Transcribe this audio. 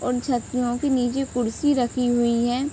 उन छत्रियो के नीचे खुर्ची रखी हुई हैं।